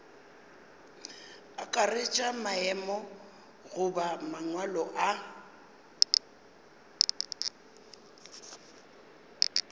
akaretša maemo goba mangwalo a